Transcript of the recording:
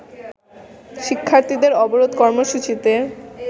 শিক্ষার্থীদের অবরোধ কর্মসূচিতে